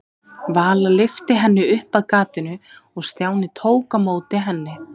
Vala lyfti henni upp að gatinu og Stjáni tók á móti henni.